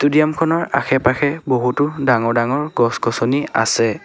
Stadium খনৰ আশে পাশে বহুতো ডাঙৰ ডাঙৰ গছ গছনি আছে।